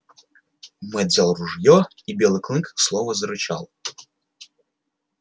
мэтт взял ружье и белый клык снова зарычал